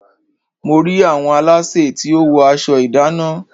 Mo rí àwọn aláṣẹ tí ó wọ aṣọ ìdánná.